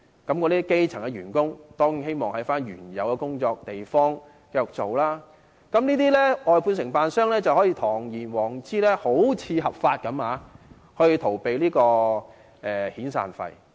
那些基層員工當然希望留在原來的地方繼續工作，於是這些外判承辦商便可堂而皇之，看似合法地逃避支付遣散費。